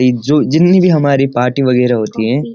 एक जो जिन्‍हीं भी हमारी पार्टी वगैरह होती है --